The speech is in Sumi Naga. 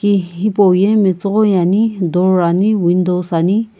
ki hipauye metsughoi ani door ani windows ani.